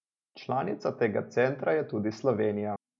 Članica tega centra je tudi Slovenija.